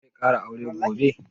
Zai ƙara aure gobe?